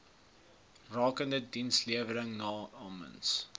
rakende dienslewering namens